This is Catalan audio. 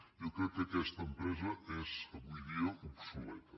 jo crec que aquesta empresa és avui dia obsoleta